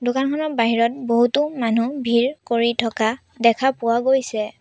দোকানখনৰ বাহিৰত বহুতো মানুহ ভিৰ কৰি থকা দেখা পোৱা গৈছে।